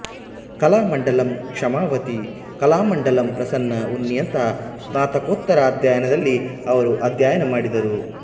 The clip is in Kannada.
ಕಲಾಮಂಡಲಂ ಕ್ಷಮಾವತಿ ಕಲಾಮಂಡಲಂ ಪ್ರಸನ್ನ ಉನ್ನಿಯಂತಹ ಸ್ನಾತಕೋತ್ತರ ಅಧ್ಯಯನದಲ್ಲಿ ಅವರು ಅಧ್ಯಯನ ಮಾಡಿದರು